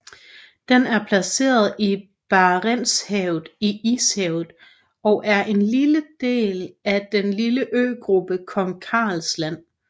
Den er placeret i Barentshavet i Ishavet og er en del af den lille øgruppen Kong Karls Land